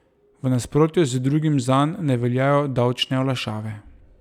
V nasprotju z drugim zanj ne veljajo davčne olajšave.